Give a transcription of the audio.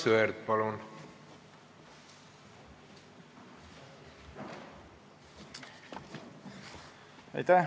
Aivar Sõerd, palun!